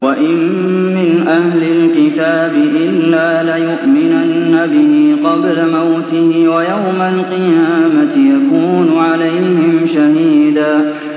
وَإِن مِّنْ أَهْلِ الْكِتَابِ إِلَّا لَيُؤْمِنَنَّ بِهِ قَبْلَ مَوْتِهِ ۖ وَيَوْمَ الْقِيَامَةِ يَكُونُ عَلَيْهِمْ شَهِيدًا